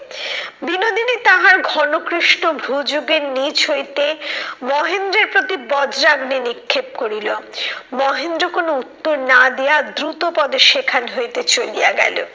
বিনোদিনী তাহার ঘনকৃষ্ট ভুজ যোগের নিচ হইতে মহেন্দ্রের প্রতি বজ্রাগ্নি নিক্ষেপ করিল। মহেন্দ্র কোনো উত্তর না দিয়া দ্রুত পদে সেখান হইতে চলিয়া গেলো।